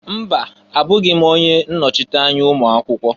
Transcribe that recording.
Mba! Abụghị m onye nnochite anya ụmụakwụkwọ.